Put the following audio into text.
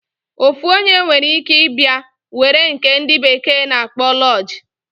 Ofu onye nwere ike ibia were nke ndi bekee na akpo lodge.